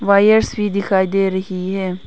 Wires भी दिखाई दे रही है।